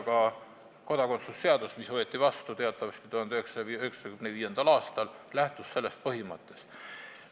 Ka kodakondsuse seadus, mis võeti teatavasti vastu 1995. aastal, lähtus sellest põhimõttest.